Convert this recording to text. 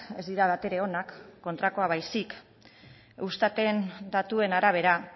ez dira bat ere onak kontrakoa baizik eustaten datuen arabera